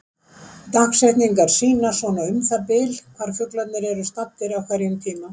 dagsetningarnar sýna svona um það bil hvar fuglarnir eru staddir á hverjum tíma